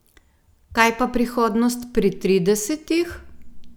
Kaj pa prihodnost pri tridesetih?